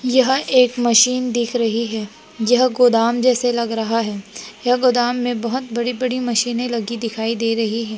यह एक मशीन दिख रही है यह गोदाम जैसे लग रहा है यह गोदाम में बहोत बड़ी बड़ी मशीने लगी दिखाई दे रही है।